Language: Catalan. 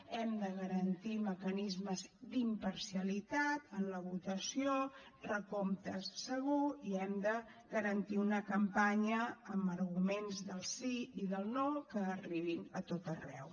hem de garantir mecanismes d’imparcialitat en la votació recompte segur i hem de garantir una campanya amb arguments del sí i del no que arribin a tot arreu